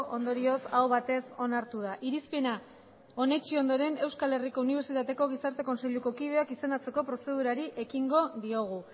ondorioz aho batez onartu da irizpena onetsi ondoren euskal herriko unibertsitateko gizarte kontseiluko kideak izendatzeko prozedurari ekingo diogu